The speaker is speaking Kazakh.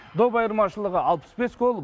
доп айырмашылығы алпыс бес гол